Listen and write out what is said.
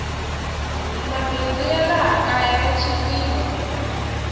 mabindzu ya laha kaya ya chipile